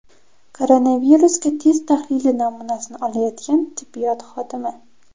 Koronavirusga test tahlili namunasini olayotgan tibbiyot xodimi.